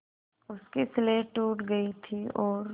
उसकी स्लेट टूट गई थी और